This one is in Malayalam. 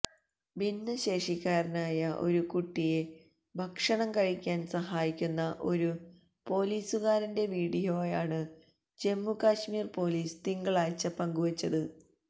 ഭിന്നശേഷിക്കാരനായ ഒരു കുട്ടിയെ ഭക്ഷണം കഴിക്കാന് സഹായിക്കുന്ന ഒരു പോലീസുകാരന്റെ വീഡിയോയാണ് ജമ്മു കശ്മീര് പോലീസ് തിങ്കളാഴ്ച പങ്കു വെച്ചത്